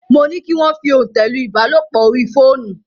Mo ní kí wọ́n fi òntẹ̀ lu ìbálòpọ̀ orí fóònù.